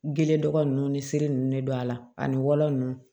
Gele dɔgɔ ninnu ni sirili ninnu de don a la ani walan ninnu